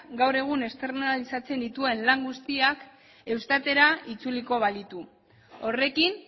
gaur egun externalizatzen dituen lan guztiak eustatera itzuliko balitu horrekin